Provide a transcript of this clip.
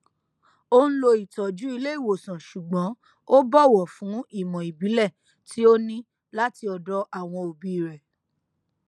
ó n lo ìtọjú ilé ìwòsàn ṣùgbọn ó bọwọ fún ìmọ ìbílẹ tí ó ní láti ọdọ àwọn òbí rẹ